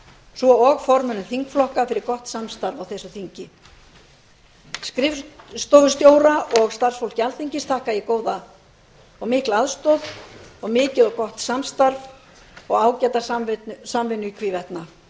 svo og formönnum þingflokka fyrir gott samstarf á þessu þingi skrifstofustjóra og starfsfólki alþingis þakka ég góða og mikla aðstoð og mikið og mjög gott starf og ágæta samvinnu í hvívetna